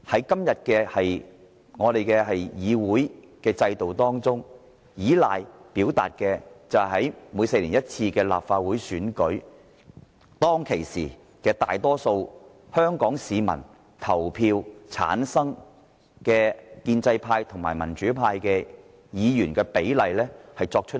今天的議會制度，是依照在每4年一度的立法會選舉中，由大多數香港市民投票產生的建制派及民主派議員的比例來作出決定。